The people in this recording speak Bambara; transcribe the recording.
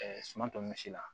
suman tɔ misi la